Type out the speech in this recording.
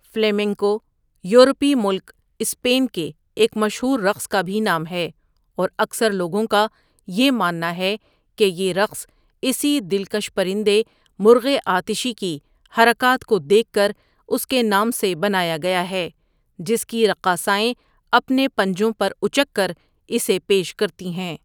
Flamenco یورپی ملک Spain کے ایک مشہور رقص کا بھی نام ہے اور اکثر لوگوں کا یہ ماننا ہے کہ یہ رقص اسی دلکش پرندے مرغِ آتشی کی حرکات کو دیکھ کراس کے نام سے بنایا گیا ہے جس کی رقاصائیں اپنے پنجوں پراُچک کر اسے پیش کرتی ہیں.